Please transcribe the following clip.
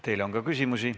Teile on ka küsimusi.